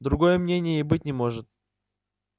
другого мнения и быть не может